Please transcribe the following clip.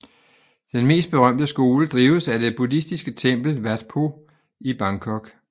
Den mest berømte skole drives af det buddhistiske tempel Wat Po i Bangkok